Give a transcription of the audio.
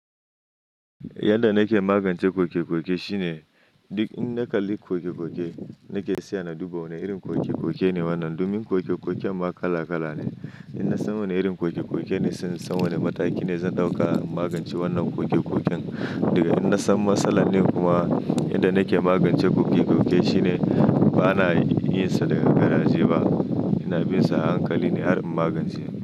Yanda nake magance koke-koke shine, duk in na kalli koke-koke nake saya na duba wana irin koke ne wannan. Domin koke-koken ma kala kala ne. In na san wane irin koke-koke ne, sai in san wane mataki ne zan ɗauka in magance wannan koke-koken. Daga in na san matsalar ne kuma, yanda nake magance koke-koke shine, ba na yin sa da garaje ba. Ina bin sa a hankali ne har in magance shi.